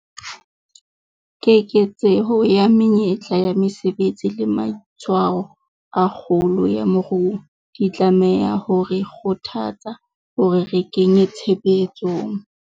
Keketseho ya menyetla ya mesebetsi le matshwao a kgolo ya moruo, di tlameha ho re kgothatsa hore re kenye tshebetsong